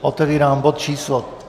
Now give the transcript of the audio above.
Otevírám bod číslo